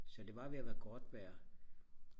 så det var ved og være godt vejr